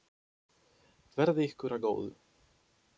Verði ykkur að góðu.